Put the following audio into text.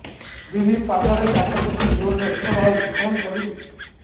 ଦିଦି ପାଦରେ କାଚ ପଶି ଜୋରରେ ରକ୍ତ ବାହାରୁଛି କଣ କରିଵି